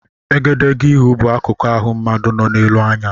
Egedegeihū bụ akukụ ịhụ mmadụ nọ n'elu anya.